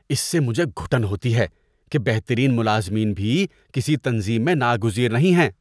اس سے مجھے گھٹن ہوتی ہے کہ بہترین ملازمین بھی کسی تنظیم میں ناگزیر نہیں ہیں۔